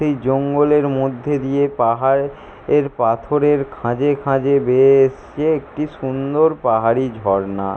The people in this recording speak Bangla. এই জঙ্গলের মধ্যে দিয়ে পাহাড়ের এর পাথরের খাঁজে খাঁজে বেয়ে এসছে এক সুন্দর পাহাড়ি ঝর্ণা।